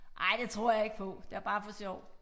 Nej det tror jeg ikke på det var bare for sjov